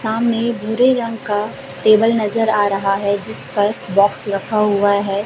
सामने भूरे रंग का टेबल नजर आ रहा है जिस पर बॉक्स रखा हुआ है।